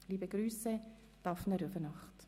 Liebe Grüsse, Daphné Rüfenacht».